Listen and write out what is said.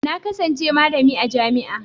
Na kasance malami a jami'a.